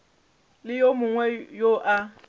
le yo mongwe yo a